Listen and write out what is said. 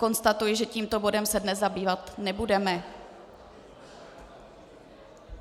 Konstatuji, že tímto bodem se dnes zabývat nebudeme.